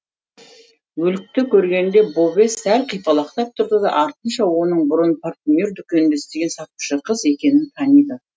өлікті көргенде бове сәл қипалақтап тұрады да артынша оның бұрын парфюмер дүкенінде істеген сатушы қыз екенін таниды